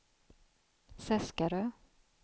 Seskarö